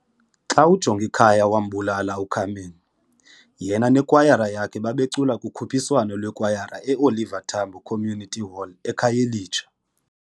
Xa uJongikhaya wambulala uCarmen, yena nekwayara yakhe babecula kukhuphiswano lwekwayara eOliver Tambo Community Hall eKhayelitsha.